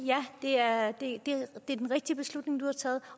det er den rigtige beslutning du har taget